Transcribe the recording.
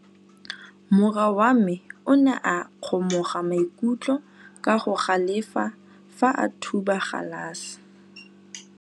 Morwa wa me o ne a kgomoga maikutlo ka go galefa fa a thuba galase.